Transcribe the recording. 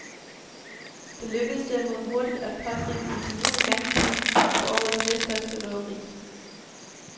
Det lykkedes derimod hurtigt at pågribe de formodede gerningsmænd til årets næststørste røveri.